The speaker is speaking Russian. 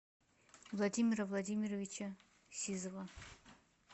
владимира владимировича сизова